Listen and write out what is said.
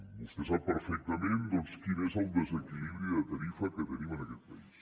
vostè sap perfectament doncs quin és el desequilibri de tarifa que tenim en aquest país